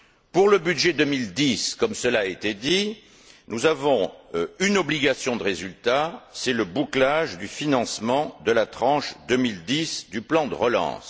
Pour le budget 2010, comme cela a été dit, nous avons une obligation de résultat c'est le bouclage du financement de la tranche 2010 du plan de relance.